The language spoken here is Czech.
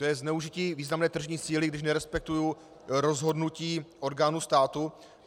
To je zneužití významné tržní síly, když nerespektuji rozhodnutí orgánů státu?